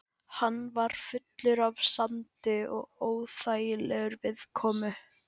Hann var fullur af sandi og óþægilegur viðkomu.